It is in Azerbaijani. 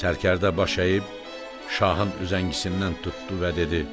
Sərkərdə baş əyib Şahın üzəngisindən tutdu və dedi: